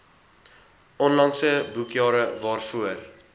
onlangse boekjare waarvoor